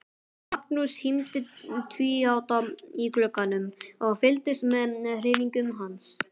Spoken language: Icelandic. Magnús hímdi tvíátta í glugganum og fylgdist með hreyfingum hans.